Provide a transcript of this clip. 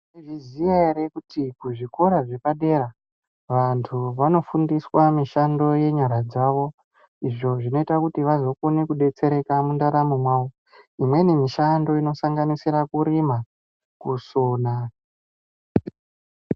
Mwaizviziya ere kuti kuzvikoro zvepadera, wandu wanofundiswa mishando yenyara dzawo, izvo zvinoita kuti wazokona kudetsereka mundaramo mwawo. Imweni mishando inosanganisira kurima, kuona.